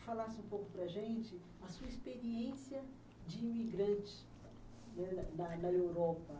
falasse um pouco para a gente a sua experiência de imigrante, né, na na na Europa.